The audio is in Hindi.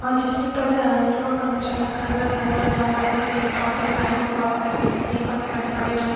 जिसके अंदर से लोग आना जाना कर रहे हैं घर बना हुआ है और बड़े बड़े पेड़ पौधे साइड में बहुत सारे मिट्टी पत्थर पड़े हुए हैं।